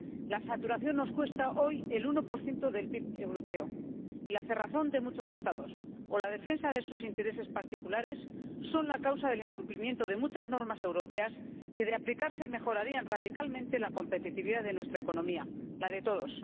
La saturación nos cuesta hoy el 1 del PIB europeo, y la cerrazón de muchos Estados o la defensa de sus intereses particulares son la causa del incumplimiento de muchas normas europeas que, de aplicarse, mejorarían radicalmente la competitividad de nuestra economía, la de todos.